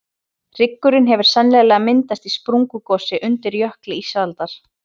hryggurinn hefur sennilega myndast í sprungugosi undir jökli ísaldar